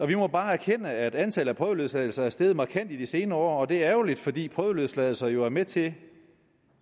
vi må bare erkende at antallet af prøveløsladelser er steget markant i de senere år og det er ærgerligt fordi prøveløsladelser jo er med til